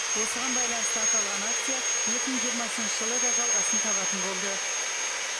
осыған байланысты аталған акция екі мың жиырмасыншы жылы да жалғасын табатын болды